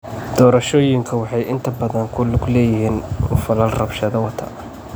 Doorashooyinku waxay inta badan ku lug leeyihiin falal rabshado wata.